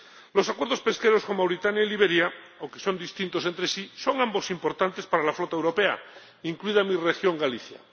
Los acuerdos pesqueros con Mauritania y Liberia, aunque son distintos entre sí, son ambos importantes para la flota europea, incluida en mi región, Galicia.